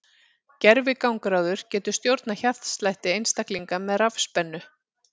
Gervigangráður getur stjórnað hjartslætti einstaklinga með rafspennu.